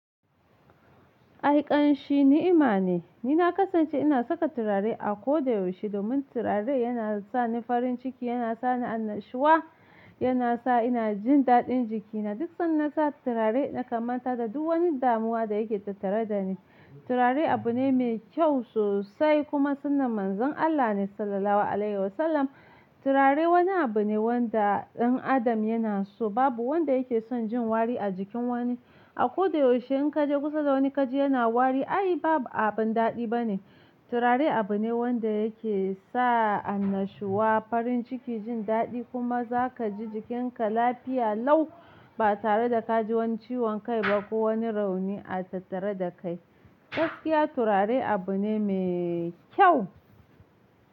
Ai ƙanshi ni'ima ne. Ni na ƙasance ina saka turare a ko da yaushe domin turare yana sa ni farin ciki, yana sa ni annashuwa, yana sa ina jin daɗin jikina. Duk sanda na sa turare na kan manta da duk wani damuwa da yake tattare da ni. Turare abu ne mai kyau sosai kuma sunnar manzon Allah ne Sallalahu Alaihi Wa Sallam. Turare wani abu ne wanda ɗan adam yana so. Babu wanda yake son jin wari a jikin wani. A ko da yaushe in ka je kusa da wani ka ji yana wari, ai ba abin daɗi bane. Turare abu ne wanda yake sa annashuwa, farin ciki, jin daɗi kuma za ka ji jikinka lafiya lau ba tare da ka ji wani ciwon kai ba ko wani rauni a tattare da kai. Gaskiya turare abu ne mai kyau.